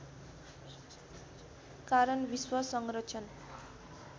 कारण विश्व संरक्षण